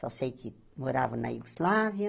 Só sei que morava na Yugoslávia,